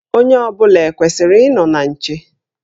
Onye ọ bụla ekwesịrị ịnọ na nche?